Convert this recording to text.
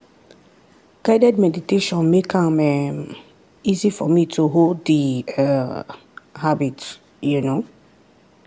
guided meditation make am um easy for me to hold the um habit. um